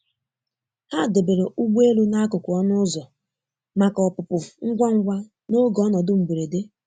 Ha debere ụgbọelu n'akụkụ ọnụ ụzọ maka ọpụpụ ngwa ngwa n'oge ọnọdụ mgberede.